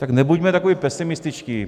Tak nebuďme tak pesimističtí.